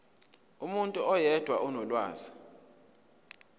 umuntu oyedwa onolwazi